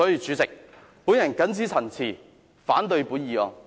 主席，我謹此陳辭，反對這項議案。